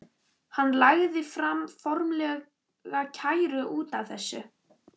Hann lagði fram formlega kæru út af þessu.